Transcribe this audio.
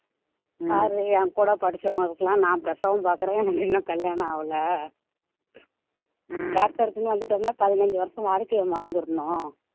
பாரு என் கூட படிச்சவங்களுக்கு எல்லாம் நான் பிரசவம் பாக்குறேன் எனக்கு இன்னும் கல்யாணம் ஆகலை doctor க்குன்னு வந்துட்டோம்னா பதினைஞ்சு வருஷம் வாழ்க்கைய மறந்துடணும்